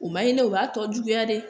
U ma ɲi dɛ u b'a tɔ juguya dɛ